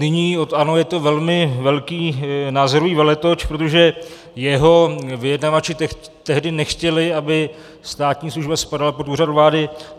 Nyní od ANO je to velmi velký názorový veletoč, protože jeho vyjednavači tehdy nechtěli, aby státní služba spadala pod Úřad vlády.